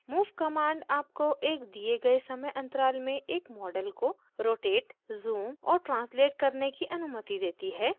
move command आपको एक दिए गए समय अंतराल में एक model को rotate zoom और translate करने की अनुमति देती है